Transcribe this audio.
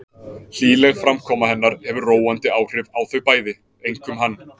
Hlýleg framkoma hennar hefur róandi áhrif á þau bæði, einkum hann.